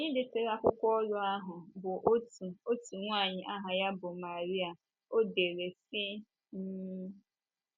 Onye detara akwụkwọ oru ahụ bụ́ otu otu nwanyị aha ya bụ́ Marília, ọ dere sị um: